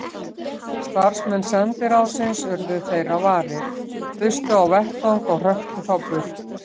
Starfsmenn sendiráðsins urðu þeirra varir, þustu á vettvang og hröktu þá burt.